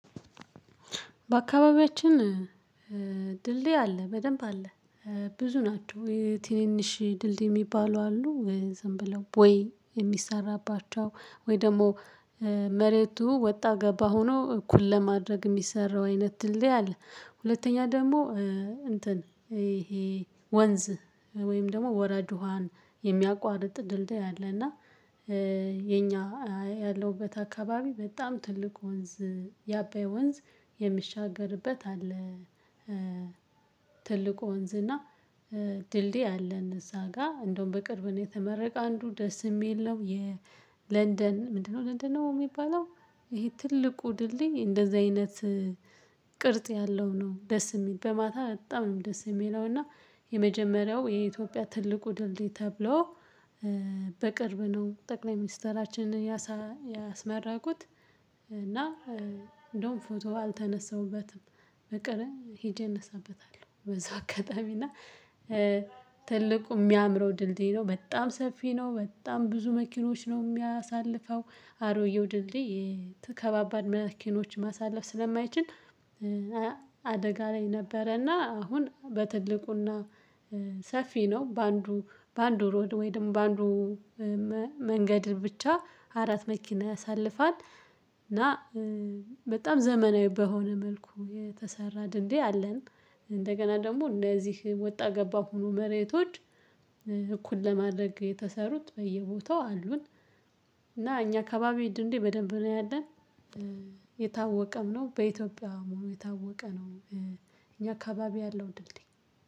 በአካባቢያችን ድልድይ አለ በደንብ አለ። ብዙ ናቸው የትንንሽ ድልድይ የሚባሉ አሉ። ዝም ብለው ቦይ የሚሰራባቸው ወይ ደግሞ መሬቱ ወጣ ገባ ሆኖ እኩል ለማድረግ የሚሰራው አይነት ትልልይ አለ። ሁለተኛ ደግሞ እንትን ይሄ ወንዝ ወይም ደግሞ ወራጅ ውሃን የሚያቋርጥ ድልድይ አለና የኛ ያለውበት አካባቢ በጣም ትልቅ ወንዝ የአባይ ወንዝ የሚሻገርበት አለ። ትልቁ ወንዝ እና ድልድይ አለን እዛ ጋር እንደውም በቅርብ ነው የተመረቀ አንዱ ደስ የሚል ነው። የለንደን ምንድነው? ለንደን ነው የሚባለው ይሄ ትልቁ ድልኝ እንደዚህ አይነት ቅርጽ ያለው ነው። ደስ የሚል በማታ በጣም ነው ደስ የሚለው። እና የመጀመሪያው የኢትዮጵያ ትልቁ ድልድይ ተብሎ በቅርብ ነው ጠቅላይ ሚኒስተራችንን ያስመረቁት። እና እንደውም ፎቶ አልተነሳሁበትም በቀርብ ሄጄ እነሳበታለሁ። በዛው አጋጣሚ እና ትልቁ የሚያምረው ድልድይ ነው። በጣም ሰፊ ነው በጣም ብዙ መኪኖች ነው የሚያሳልፈው። አሮዬው ድልድይ የተከባባል መኪኖች ማሳለፍ ስለማይችል አደጋ ላይ ነበረና አሁን በትልቁና ሰፊ ነው። በአንዱ በአንዱ ሮድ ወይም በአንዱ መንገድ ብቻ አራት መኪና ያሳልፋል። እና በጣም ዘመናዊ በሆነ መልኩ የተሰራ ድልድይ አለን። እንደገና ደግሞ እነዚህ ወጣ ገባ ሆኖ መሬቶች እኩል ለማድረግ የተሰሩት በየቦታው አሉን። እና እኛ ከባቢ ድልድይ በደንብ ነው ያለን። የታወቀም ነው በኢትዮጵያ መሆኑ የታወቀ ነው። እኛ አካባቢ ያለው ድልድይ